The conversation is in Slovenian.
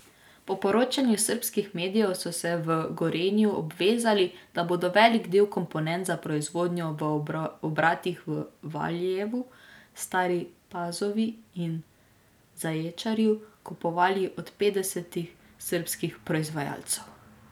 Po poročanju srbskih medijev so se v Gorenju obvezali, da bodo velik del komponent za proizvodnjo v obratih v Valjevu, Stari Pazovi in Zaječarju kupovali od petdesetih srbskih proizvajalcev.